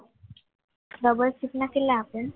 double shift ના કેટલા આપે?